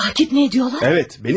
Təqib edirlər?